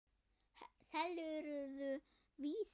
Selurðu Vísi?